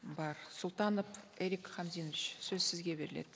бар султанов эрик хамзинович сөз сізге беріледі